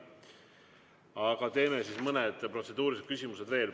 Aga teeme mõned protseduurilised küsimused veel.